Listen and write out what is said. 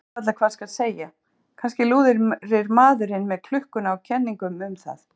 Ég veit varla hvað skal segja, kannski lúrir maðurinn með klukkuna á kenningum um það.